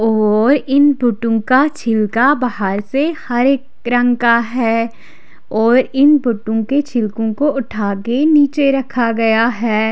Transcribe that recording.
और इन बुंडू का छिलका बहार से हरे रंग का है और इन बुंडू के छिलको को उठा के नीचे रखा हुआ है।